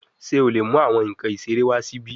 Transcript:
Ṣe o le mu awọn nkan isere wa si ibi?